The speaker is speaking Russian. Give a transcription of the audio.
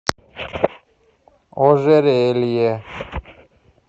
ожерелье